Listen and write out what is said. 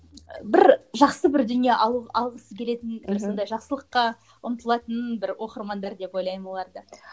бір жақсы бір дүние алу алғысы келетін бір сондай жақсылыққа ұмтылатын бір оқырмандар деп ойлаймын оларды